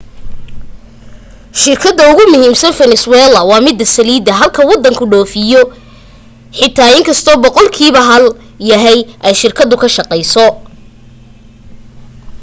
shirkada ugumuhiimsan venezuelans waa mida saliida halka wadanku dhoofiyo xitaa iskasto boqoqlkiiba hal yahay ay shirkada ka shaqayso